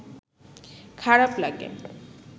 খারাপ লাগে